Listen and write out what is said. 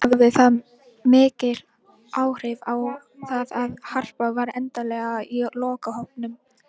Hafði það mikil áhrif á það að Harpa var endanlega í lokahópnum?